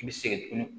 I bɛ segin tuguni